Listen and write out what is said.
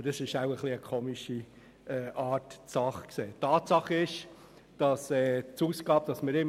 Aber das ist wahrscheinlich eine merkwürdige Art, die Sache zu sehen.